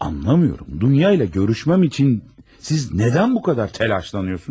Başa düşmürəm, Dunya ilə görüşməyim üçün siz niyə bu qədər təlaşlanırsınız?